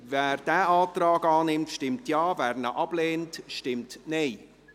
Wer diesen Antrag annimmt, stimmt Ja, wer diesen ablehnt, stimmt Nein.